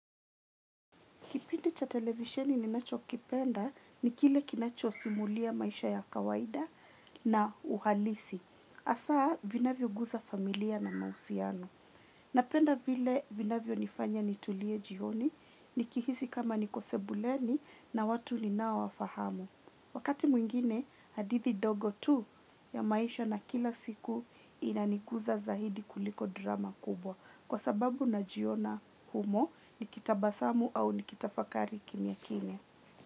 Kipindi cha televisheni ninacho kipenda ni kile kinacho simulia maisha ya kawaida na uhalisi. Hasa vinavyo guza familia na mahusiano. Napenda vile vinavyo nifanya nitulie jioni, nikihisi kama nikosebuleni na watu ninaowa fahamu. Wakati mwingine, hadithi ndogo tu ya maisha na kila siku inanikuza zaidi kuliko drama kubwa. Kwa sababu na jiona humo ni kitabasamu au ni kitafakari kimya kimya.